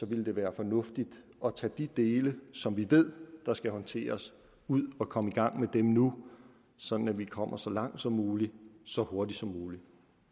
ville det være fornuftigt at tage de dele som vi ved der skal håndteres ud og komme i gang med dem nu sådan at vi kommer så langt som muligt så hurtigt som muligt